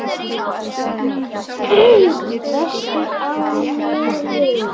Vestur á Melum.